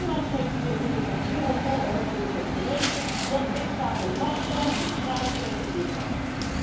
Onlangs heeft de directeur van Europol er nog weer eens op gewezen dat lidstaten laks zijn in hun strijd tegen witwassen.